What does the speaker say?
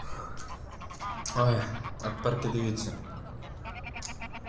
ой от парки дывитыся